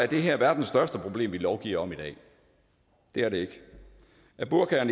det her er verdens største problem vi lovgiver om i dag det er det ikke er burka og